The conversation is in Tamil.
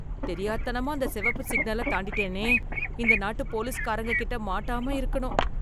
தெரியாத் தனமா அந்த செவப்பு சிக்னலத் தாண்டிட்டேனே! இந்த நாட்டு போலிஸ்காரங்க கிட்ட மாட்டாம இருக்கணும்!